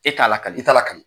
E t'a lakale, i t'a lakale.